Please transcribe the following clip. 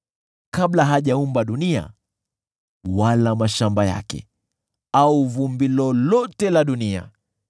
kabla hajaumba dunia wala mashamba yake au vumbi lolote la dunia.